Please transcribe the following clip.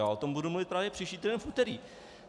Já o tom budu mluvit právě příští týden v úterý.